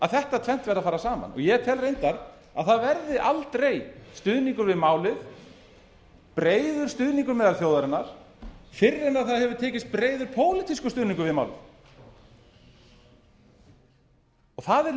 þetta tvennt verði að fara saman og ég tel reyndar að það verði aldrei stuðningur við málið breiður stuðningur meðal þjóðarinnar fyrr en tekist hefur breiður pólitískur stuðningur við málið það er